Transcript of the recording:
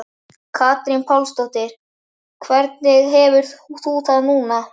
Katrín Pálsdóttir: Hvernig hefur þú það núna?